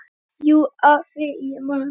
Jú, afi, ég man.